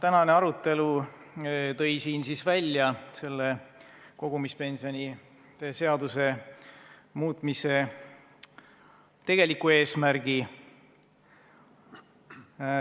Tänane arutelu tõi välja kogumispensionide seaduse muutmise tegeliku eesmärgi.